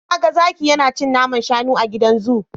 Na ga zaki yana cin naman shanu a gidan zu.